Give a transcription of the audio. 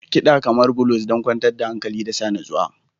Kiɗa kamar blues don kwantar da hankali da sa natsuwa.